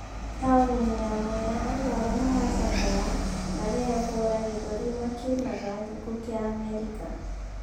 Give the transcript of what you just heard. Taũni-inĩ ya mwea andũ arĩa mara cakaya , marehũra gĩthũri makĩinaga "Gĩkuo kĩa Amerika".